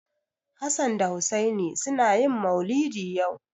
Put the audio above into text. Hassan da Hussaini suna yin maulidi yau.